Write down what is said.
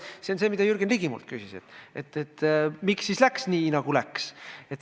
See on see, mida Jürgen Ligi minult küsis: miks läks nii, nagu läks?